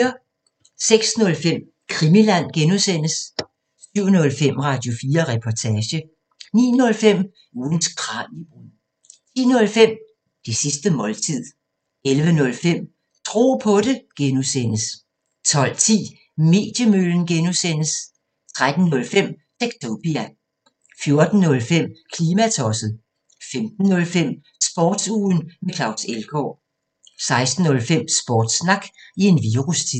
06:05: Krimiland (G) 07:05: Radio4 Reportage 09:05: Ugens Kraniebrud 10:05: Det sidste måltid 11:05: Tro på det (G) 12:10: Mediemøllen (G) 13:05: Techtopia 14:05: Klimatosset 15:05: Sportsugen med Claus Elgaard 16:05: Sportssnak i en virustid